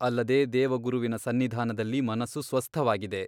ಅಲ್ಲದೆ ದೇವಗುರುವಿನ ಸನ್ನಿಧಾನದಲ್ಲಿ ಮನಸ್ಸು ಸ್ವಸ್ಥವಾಗಿದೆ.